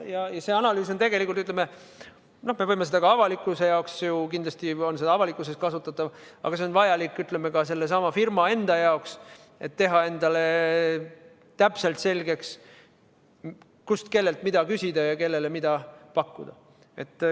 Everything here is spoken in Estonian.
Ja seda analüüsi me võime ka avalikkuse jaoks kasutada, kindlasti on see avalikkuses kasutatav, aga see on vajalik ka sellesama firma enda jaoks, et teha endale täpselt selgeks, kust, kellelt ja mida küsida ning kellele mida pakkuda.